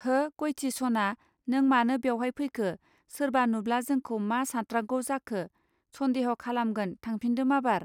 हो, गयथि सना नों मानो बेवहाय फैखो सोरबा नुब्ला जोंखौ मा सात्रांगौ जाखौ, सन्देह खालामगोन थांफिन्दो माबार